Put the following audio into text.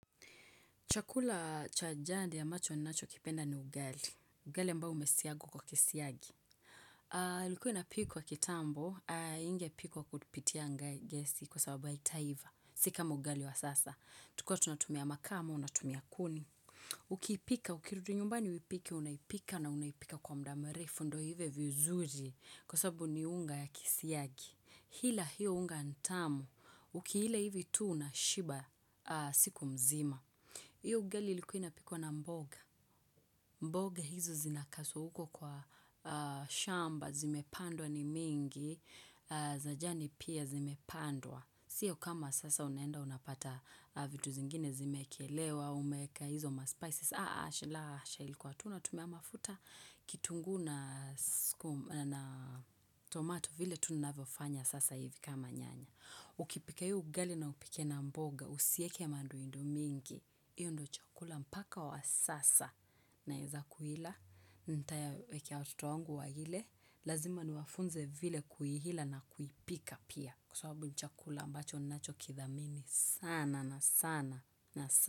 Chakula cha jadi ambacho nacho kipenda ni ugali. Ugali mbao umesiagwa kwa kisiagi. Likuwa inapikwa kitambo, ingepikwa kutipitia gesi kwa sababu haitaiva. Si kama ugali wa sasa. Tukuwa tunatumia makaa ama, unatumia kuni. Ukipika, ukirudu nyumbani uipike, unaipika na unaipika kwa muda murefu. Ndo ive vizuri kwa sababu ni unga ya kisiagi. Hila hiyo unga ni tamu. Uki ila hivi tu unashiba, siku mzima. Hio ugali ilikuwa inapikwa na mboga. Mboga hizi zinakasu huko kwa shamba, zimepandwa ni mingi, za jani pia zimepandwa. Sio kama sasa unaenda unapata vitu zingine zimeekelewa, umeeka hizo ma spices. La asha ilikuwa tu unatumia mafuta kitungu na tomato vile tu ninavofanya sasa hivi kama nyanya. Ukipika hiyo ugali na upike na mboga, usieke manduindo mingi, hiyo ndio chakula mpaka wa sasa naeza kuila, ntayawekea watoto wangu waile, lazima niwafunze vile kuihila na kuipika pia. Kwa sababu ni chakula ambacho nacho kithamini sana na sana na sana.